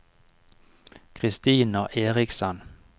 Kristina Erichsen